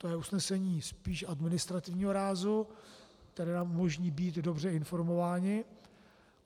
To je usnesení spíš administrativního rázu, které nám umožní být dobře informováni.